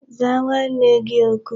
Zaa nwanne gi oku!